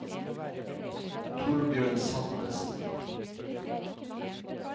Torbjørn Salvesen